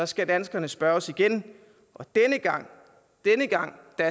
skal danskerne spørges igen og denne gang